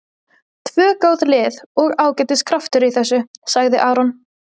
Tvö góð lið og ágætis kraftur í þessu, sagði Aron.